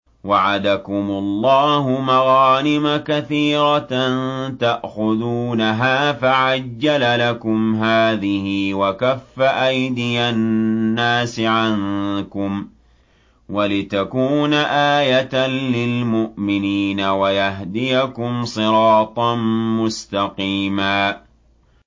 وَعَدَكُمُ اللَّهُ مَغَانِمَ كَثِيرَةً تَأْخُذُونَهَا فَعَجَّلَ لَكُمْ هَٰذِهِ وَكَفَّ أَيْدِيَ النَّاسِ عَنكُمْ وَلِتَكُونَ آيَةً لِّلْمُؤْمِنِينَ وَيَهْدِيَكُمْ صِرَاطًا مُّسْتَقِيمًا